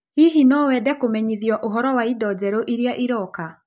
Hihi no wende kũmenyithio ũhoro wa indo njerũ iria iroka?